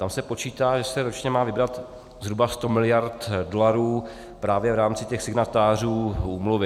Tam se počítá, že se ročně má vybrat zhruba 100 mld. dolarů právě v rámci těch signatářů úmluvy.